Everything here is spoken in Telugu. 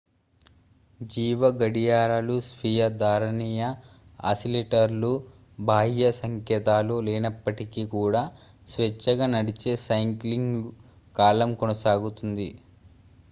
జీవ గడియారాలు స్వీయ ధారణీయ ఆసిలేటర్లు బాహ్య సంకేతాలు లేనప్పటికీ కూడా స్వేచ్ఛగా నడిచే సైక్లింగ్ కాలం కొనసాగుతుంది